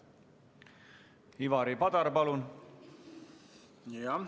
Ivari Padar, palun!